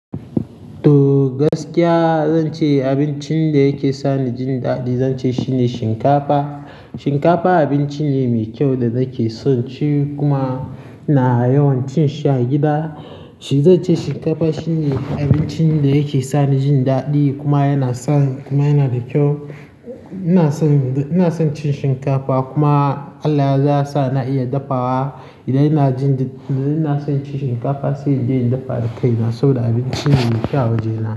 To, gaskiya zan ce abincin da yake sani jin daɗi zan ce shine shinkafa. Shinkafa abinci ne mai kyau da nake son ci kuma ina yawan cin shi a gida. Shi zan ce shinkafa shine abincin da yake sani jin daɗi kuma yana sa, kuma yana da kyau. Ina son, ina son cin shinkafa kuma Allah yazo yasa na iya dafawa. Idan ina jin, idan ina son cin shinkafa sai in je in dafa da kai. Na so da abinci ne mai kyau waje nan.